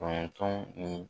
Kɔnɔntɔn ni